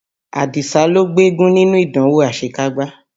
Àdìsá ló gbégún nínú ìdánwò àṣekágbá.